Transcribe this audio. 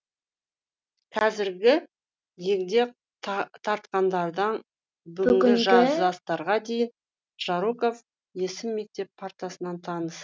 қазіргі егде тартқандардан бүгінгі жастарға дейін жароков есім мектеп партасынан таныс